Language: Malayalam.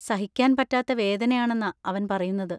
സഹിക്കാൻ പറ്റാത്ത വേദനയാണെന്നാ അവൻ പറയുന്നത്.